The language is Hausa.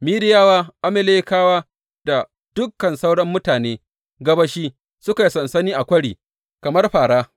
Midiyawa, Amalekawa da dukan sauran mutane gabashi suka yi sansani a kwari, kamar fāra.